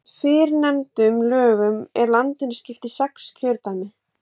Samkvæmt fyrrnefndum lögum er landinu skipt í sex kjördæmi.